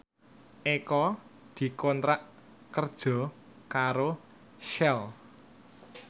Eko dikontrak kerja karo Shell